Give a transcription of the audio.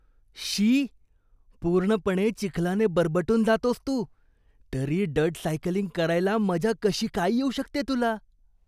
शी. पूर्णपणे चिखलाने बरबटून जातोस तू, तरी डर्ट सायकलिंग करायला मजा कशी काय येऊ शकते तुला?